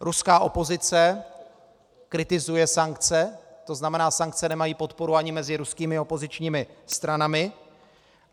Ruská opozice kritizuje sankce, to znamená, sankce nemají podporu ani mezi ruskými opozičními stranami.